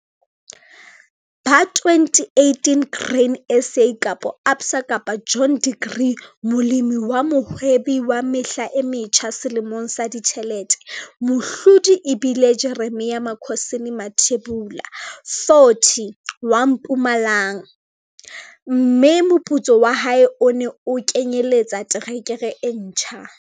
Ba 2018 Grain SA, Absa, John Deere Molemi wa Mohwebi wa Mehla e Metjha Selemong sa Ditjhelete, mohlodi e bile Jeremia Makhosini Mathebula, 40, wa Mpumalang, mme moputso wa hae o ne o kenyeletsa terekere e ntjha.